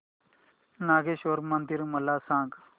नागेश्वर मंदिर मला सांग